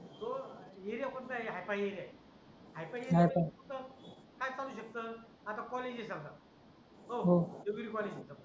तो एरिया कोणता आहे हाय-फाय एरिया आहे हाय-फाय एरिया काय चालू शकत आता कॉलेजेस चालतात